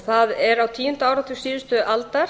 það er á tíunda áratug síðustu aldar